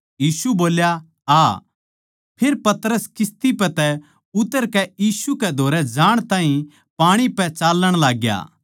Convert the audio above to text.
यीशु बोल्या आ फेर पतरस किस्ती पै तै उतरकै यीशु कै धोरै जाण ताहीं पाणी पै चाल्लण लाग्या